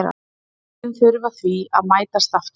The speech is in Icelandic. Liðin þurfa því að mætast aftur.